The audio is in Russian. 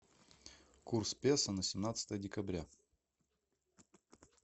курс песо на семнадцатое декабря